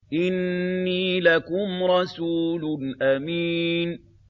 إِنِّي لَكُمْ رَسُولٌ أَمِينٌ